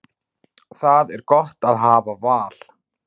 Það er gott að hafa val.